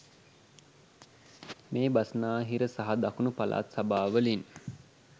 මේ බස්නාහිර සහ දකුණු පළාත් සභාවලින්